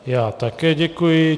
Já také děkuji.